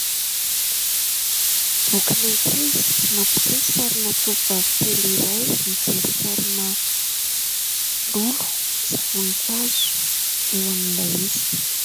Bokin'ankizy mampiseho sarina tovovavy kely iray mijery sarina lolo sy voninkazo eo amin'ilay izy.